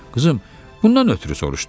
Qızım, bundan ötrü soruşdun?